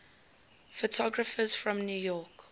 photographers from new york